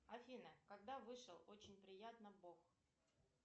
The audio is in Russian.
афина когда вышел очень приятно бог